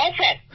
হ্যাঁ স্যার